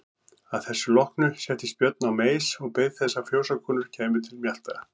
Að þessu loknu settist Björn á meis og beið þess að fjósakonur kæmu til mjalta.